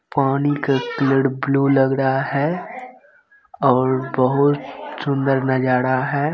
पानी का colour blue लग रहा है और बहुत सुंदर नजारा है।